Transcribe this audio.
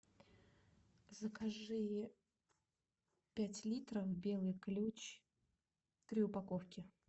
закажи пять литров белый ключ три упаковки